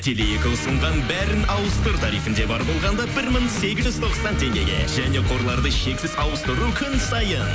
теле екі ұсынған бәрін ауыстыр тарифінде бар болғанда бір мың сегіз жүз тоқсан теңгеге және қорларды шексіз ауыстыру күн сайын